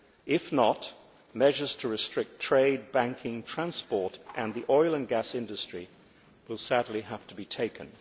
If not, measures to restrict trade, banking, transport and the oil and gas industry will sadly have to be taken.